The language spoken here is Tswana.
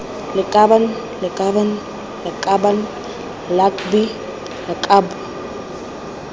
lakabaaan lakabaaan lakaban lakbi lakab